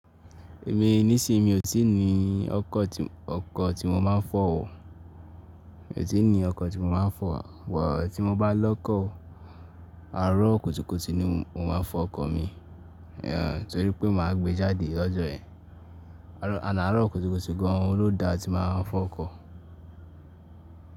Èmi nísìí mi ò tíì ní ọkọ̀ tí, ọkọ̀ tí mo máa ń fọ̀ o. Mi ò tí ì ní ọkọ̀ tí mo máa ń fọ̀, but tí mo bá lọ́kọ̀, àárọ̀ kùtùkùtù ni mo máa ń fọ ọkọ̀ mi, ehn, torí pé mà á gbé jáde lọ́jọ́ yẹn. Ànd àárọ̀ kùtùkùtù gan lo da tí mà á fọ ọkọ̀.